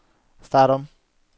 start om